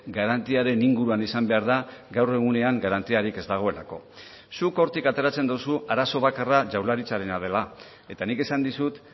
garantiaren inguruan izan behar da gaur egunean garantiarik ez dagoelako zuk hortik ateratzen duzu arazo bakarra jaurlaritzarena dela eta nik esan dizut